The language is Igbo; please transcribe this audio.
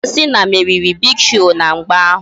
John Cena meriri Big Show na mgba ahụ